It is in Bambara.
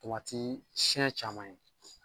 Tomati siɛn caman ye.